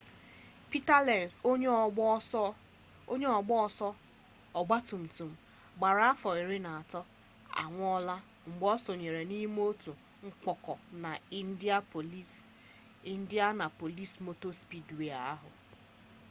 peter lenz onye ọgba ọsọ ọgba tum tum gbara afọ iri na atọ anwụọla mgbe o sonyere n'ime otu mkpọka na indianapolis motor speedway ahụ